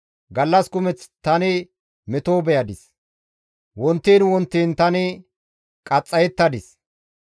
Gallas kumeth tani meto beyadis; wontiin wontiin tani qaxxayettadis.